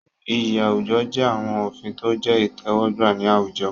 Iyì àwùjọ jẹ́ àwọn òfin tó jẹ́ ìtẹ́wọ́gbà ní àwùjọ.